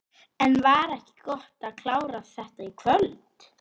En var ekki gott að klára þetta í kvöld?